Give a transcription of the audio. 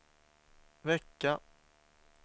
vecka